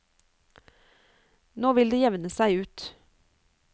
Nå vil det jevne seg ut.